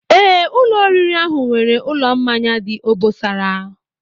Ee, ụlọ oriri ahụ nwere ụlọ mmanya dị obosara